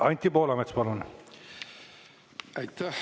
Anti Poolamets, palun!